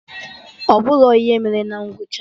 Ọ bụrọ ihe mere na ngwụcha!